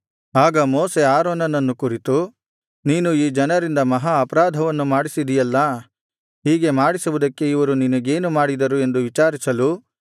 ಆಗ ಮೋಶೆ ಆರೋನನನ್ನು ಕುರಿತು ನೀನು ಈ ಜನರಿಂದ ಮಹಾ ಅಪರಾಧವನ್ನು ಮಾಡಿಸಿದಿಯಲ್ಲಾ ಹೀಗೆ ಮಾಡಿಸುವುದಕ್ಕೆ ಇವರು ನಿನಗೇನು ಮಾಡಿದರು ಎಂದು ವಿಚಾರಿಸಲು